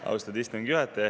Austatud istungi juhataja!